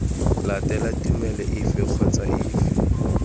latela tumelo efe kgotsa efe